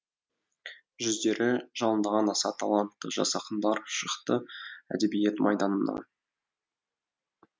жүздері жалындаған аса талантты жас ақындар шықты әдебиет майданына